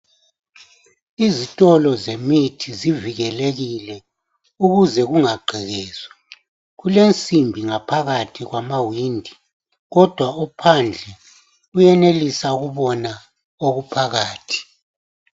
Izitolo zemithi zivikelekile ukuze kungagqekezwa. Kulensimbi ngaphakathi kwamawindi kodwa ophandle uyenelisa ukubona okuphakathi.